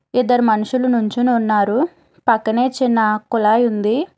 ఇద్దరు మనుషులు నుంచుని ఉన్నారు పక్కనే చిన్న కులాయి ఉంది.